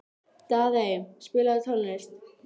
Daðey, spilaðu tónlist.